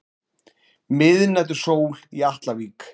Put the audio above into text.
Miðnætursól í Atlavík.